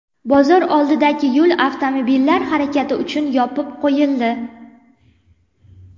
Bozor oldidagi yo‘l avtomobillar harakati uchun yopib qo‘yildi.